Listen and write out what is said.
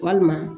Walima